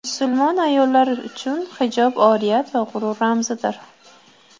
Musulmon ayollar uchun hijob oriyat va g‘urur ramzidir.